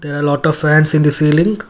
there are lot of fans in the sealing.